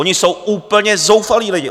Oni jsou úplně zoufalí lidé!